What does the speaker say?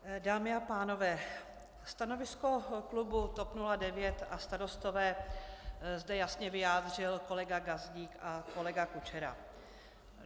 Dámy a pánové, stanovisko klubu TOP 09 a Starostové zde jasně vyjádřil kolega Gazdík a kolega Kučera.